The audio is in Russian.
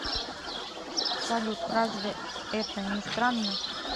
салют разве это не странно